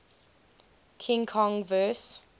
king kong vs